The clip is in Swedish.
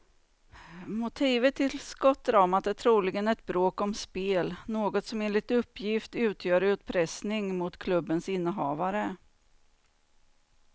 Motivet till skottdramat är troligen ett bråk om spel, något som enligt uppgift utgör utpressning mot klubbens innehavare.